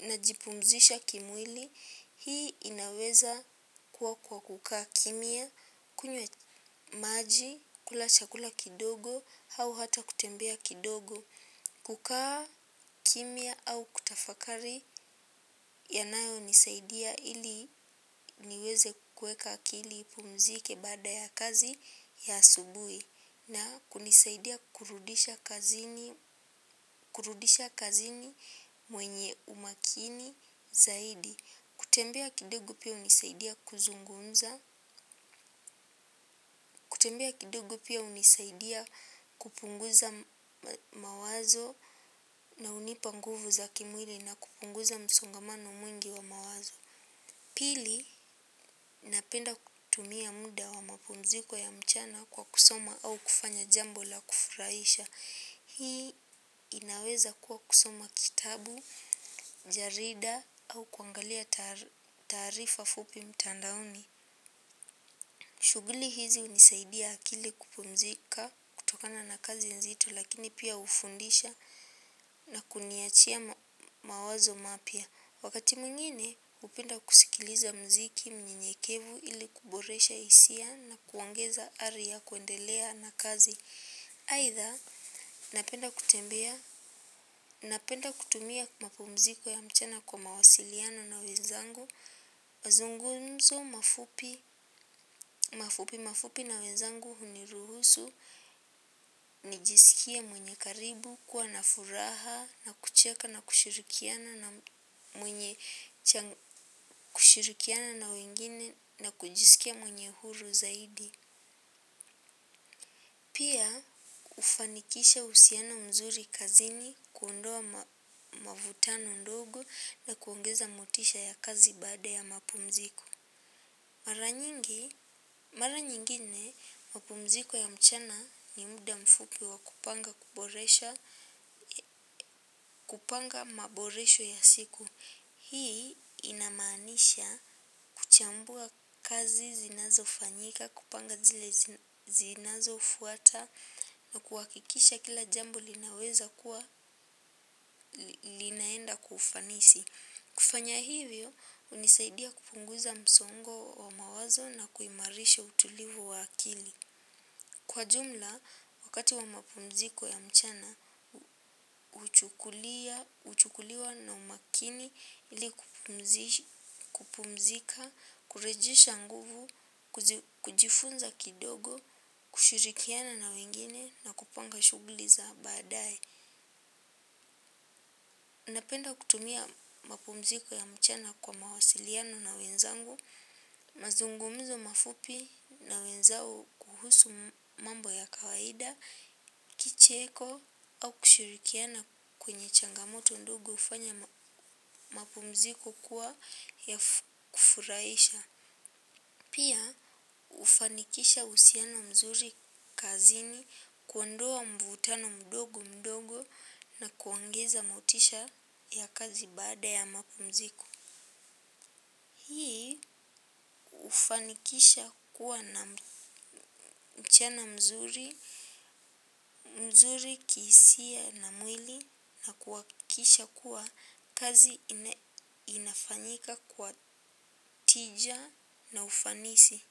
najipumzisha kimwili hii inaweza kuwa kwa kukaa kimia, kunywa maji, kula chakula kidogo, au hata kutembea kidogo. Kukaa kimya au kutafakari yanayo nisaidia ili niweze kuweka akili ipumzike baada ya kazi ya asubuhi na kunisaidia kurudisha kazini kurudisha kazini mwenye umakini zaidi. Kutembea kidogu pia hunisaidia kuzungumza, kutembea kidogu pia unisaidia kupunguza mawazo na hunipa nguvu za kimwili na kupunguza msongamano mwingi wa mawazo. Pili, napenda kutumia muda wa mapumziko ya mchana kwa kusoma au kufanya jambo la kufurahisha. Hii inaweza kuwa kusoma kitabu, jarida au kuangalia taarifa fupi mtandaoni. Shughuli hizi hunisaidia akili kupumzika kutokana na kazi nzito lakini pia hufundisha na kuniachia mawazo mapya. Wakati mwingine, hupenda kusikiliza mziki mnyenyekevu ili kuboresha hisia na kuongeza ari ya kuendelea na kazi. Aitha napenda kutumia mapumziko ya mchana kwa mawasiliano na wenzangu mazungumzo mafupi mafupi na wenzangu huniruhusu nijisikie mwenye karibu kuwa na furaha na kucheka na kushirikiana na kushirikiana na wengine na kujisikia mwenye uhuru zaidi. Pia hufanikisha uhusiana mzuri kazini kuondoa mavutano ndogo na kuongeza motisha ya kazi baada ya mapumziko. Mara nyingi, mara nyingine mapumziko ya mchana ni muda mfupi wa kupanga kuboresha, kupanga maboresho ya siku. Hii ina maanisha kuchambua kazi zinazo fanyika, kupanga zile zinazo fuata na kuhakikisha kila jambo linaweza kuwa linaenda kwa ufanisi. Kufanya hivyo hunisaidia kupunguza msongo wa mawazo na kuimarisha utulivu wa akili. Kwa jumla, wakati wa mapumziko ya mchana, huchukuliwa na umakini ili kupumzika, kurejisha nguvu, kujifunza kidogo, kushirikiana na wengine na kupanga shughuli za baadae. Napenda kutumia mapumziko ya mchana kwa mawasiliano na wenzangu, mazungumzo mafupi na wenzangu kuhusu mambo ya kawaida, kicheko au kushaurikiana kwenye changa moto ndogo hufanya mapumziko kuwa ya kufuraisha. Pia hufanikisha uhusiano mzuri kazini kuondoa mvutano mdogo mdogo na kuongeza motisha ya kazi baada ya mapumziko. Hii hufanikisha kuwa na mchana mzuri mzuri kihisia na mwili na kuhakikisha kuwa kazi inafanyika kwa tija na ufanisi.